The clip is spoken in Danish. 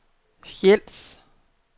Hejls